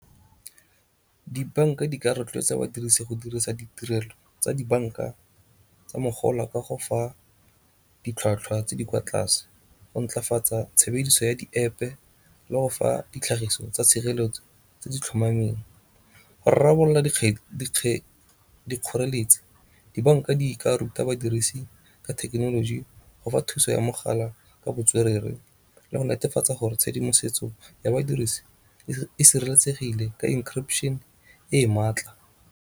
Dibanka di ka rotloetsa badirise go dirisa ditirelo tsa dibanka tsa mogala ka go fa ditlhwatlhwa tse di kwa tlase, go ntlafatsa tshebediso ya di-App le go fa ditlhagiso tsa tshireletso tse di tlhomameng. Go rarabolola dikgoreletsi dibanka di ka ruta badirisi ka thekenoloji go fa thuso ya mogala ka botswerere le go netefatsa gore tshedimosetso ya badirisi e sireletsegile ka encryption e e maatla.